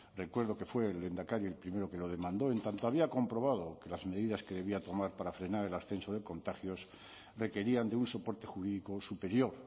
recuerdo que fue el lehendakari el primero que lo demandó en tanto había comprobado que las medidas que debía tomar para frenar el ascenso de contagios requerían de un soporte jurídico superior